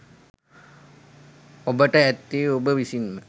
ඔබට ඇත්තේ ඔබ විසින්ම